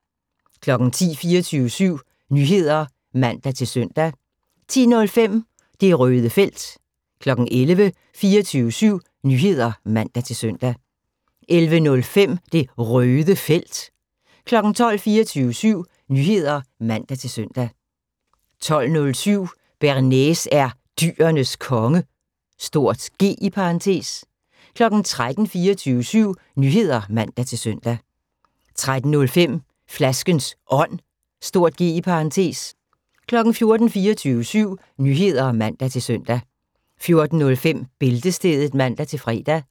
10:00: 24syv Nyheder (man-søn) 10:05: Det Røde Felt 11:00: 24syv Nyheder (man-søn) 11:05: Det Røde Felt 12:00: 24syv Nyheder (man-søn) 12:07: Bearnaise er Dyrenes Konge (G) 13:00: 24syv Nyheder (man-søn) 13:05: Flaskens Ånd (G) 14:00: 24syv Nyheder (man-søn) 14:05: Bæltestedet (man-fre)